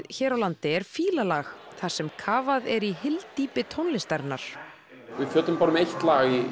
hér á landi er Fílalag þar sem kafað er í hyldýpi tónlistarinnar við fjöllum bara um eitt lag í